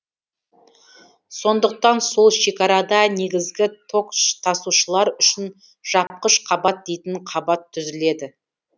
сондықтан сол шекарада негізгі ток тасушылар үшін жапқыш қабат дейтін қабат түзіледі